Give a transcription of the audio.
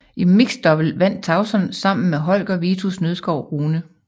I mixeddouble vandt Tauson sammen med Holger Vitus Nødskov Rune